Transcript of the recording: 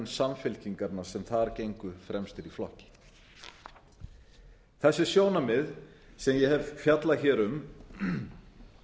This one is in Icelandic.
samfylkingarinnar sem þar gengu fremstir í flokki þessi sjónarmið sem ég hef fjallað hér um